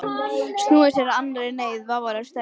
Snúið sér að annarri neyð, vafalaust stærri.